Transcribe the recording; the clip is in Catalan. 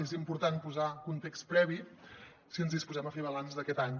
és important posar context previ si ens disposem a fer balanç d’aquest any